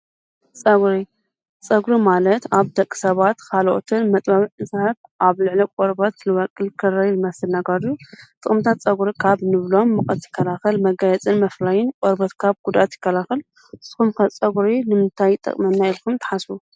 ጸጕሪ፡- ጸጕሪ ማለት ኣብ ደቂ ሰባት ኻልኦትን መጥባብዕ ዕሣህት ኣብ ልዕለቕ ወርባት ትልበቅል ክረይ ልመስነጓዱ ጥቕምታት ጸጕሪ ካብ ኖብሎም ምቕት ይከላኸል መጋየጽን መፍላይን ወርበት ካብ ጕዳት ይከላኸል ንስኹም ከ ጸጕሪ ንምንታይ ጠቕመና ኢልኩም ተሓስቡ?